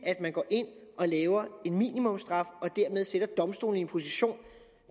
at man går ind og laver en minimumsstraf og dermed sætter domstolene i en position